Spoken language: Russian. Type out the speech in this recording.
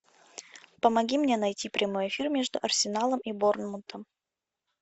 помоги мне найти прямой эфир между арсеналом и борнмутом